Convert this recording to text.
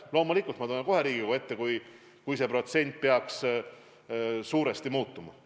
Loomulikult ma tulen kohe Riigikogu ette, kui need protsendid peaks suuresti muutuma.